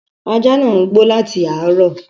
Ajá ńáà ń gbó láti àárọ